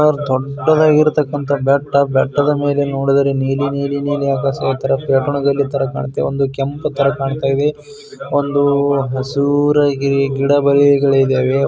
ದೊಡ್ಡದಾಗಿರಂತ ಬೆಟ್ಟ ಬೆಟ್ಟದ ಮೇಲೆ ನೋಡಿದರೆ ನೀನು ನೀಲಿ ನೀಲಿ ನೀಲಿ ಆಕಾಶ ತರ ಕಾಂತಾ ಇದೆ ಒಂದು ಕೆಂಪು ತಾರಾ ಕಾಂತಾ ಇದೆ ಒಂದು ಹಸಿರು ಗಿಡ ಮರಗಳು ಇದವೆ.